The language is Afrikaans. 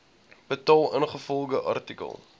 betaal ingevolge artikel